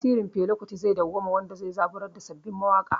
Tasirin Fela Kuti zai dawwama, wanda zai zaburar da sabbin mawaƙa